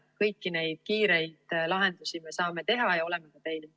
Kõiki neid kiireid lahendusi me saame teha ja oleme ka teinud.